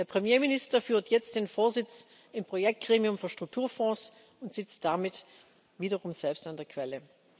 Der Premierminister führt jetzt den Vorsitz im Projektgremium für Strukturfonds und sitzt damit wiederum selbst an der Quelle.